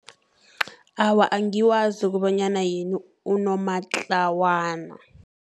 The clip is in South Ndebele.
Awa, angiwazi ukobanyana yini unomatlawana.